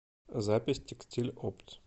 запись текстиль опт